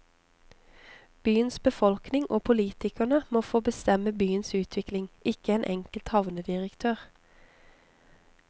Byens befolkning og politikerne må få bestemme byens utvikling, ikke én enkelt havnedirektør.